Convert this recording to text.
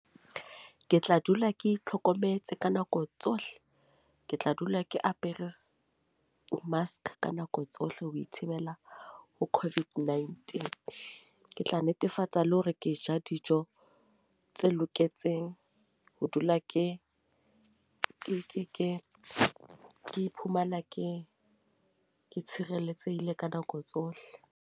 Ke tla dula ke itlhokometse ka nako tsohle ke tla dula ke apere s mask ka nako tsohle, ho ithibela ho COVID-19. Ke tla netefatsa le hore ke ja dijo mme tse loketseng ho dula ke ke ke ke ke iphumana ke ke tshireletsehile ka nako tsohle.